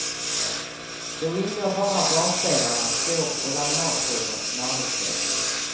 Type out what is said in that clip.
Då ingår bara basdelarna, skåp och laminatskivor som arbetsbänkar.